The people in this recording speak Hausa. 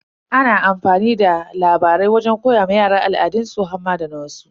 Ana amfani da labarai wajen koya wa yara al'adansu har ma da na wasu.